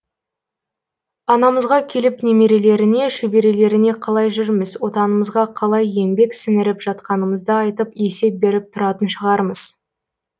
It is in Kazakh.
анамызға келіп немерелеріне шөберелеріне қалай жүрміз отанымызға қалай еңбек сіңіріп жатқанымызды айтып есеп беріп тұратын шығармыз